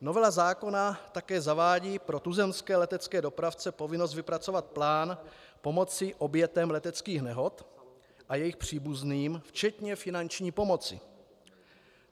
Novela zákona také zavádí pro tuzemské letecké dopravce povinnost vypracovat plán pomoci obětem leteckých nehod a jejich příbuzným, včetně finanční pomoci.